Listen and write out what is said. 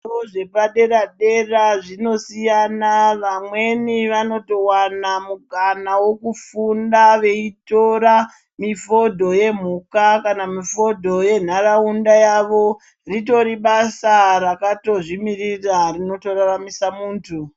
Zvikora zvepadera dera zvinosiyana vamweni vanotowana mikana yekufunda veitora mifodho yemhuka kana mifodho yenharaunda yavo ritori basa ritiri basa rakatozvimirira rinotoraramisa munthu.